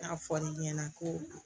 N y'a fɔ l'i ɲɛna ko